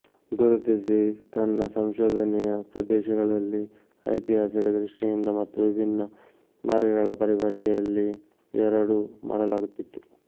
ಗುರುತಿಸಿ ತನ್ನ ಸಂಶೋಧನೆಯ ಪ್ರದೇಶಗಳಲ್ಲಿ ಐತಿಹಾಸಿಕ ದೃಷ್ಟಿಯಿಂದ ಮತ್ತು ವಿಭಿನ್ನ ಮಾರ್ಗಗಳ ಪರಿಭಾಷೆಯಲ್ಲಿ ಎರಡೂ ಮಾಡಲಾಗುತ್ತಿತ್ತು